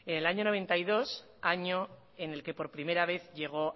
en el año mil novecientos noventa y dos año en el que por primera vez llegó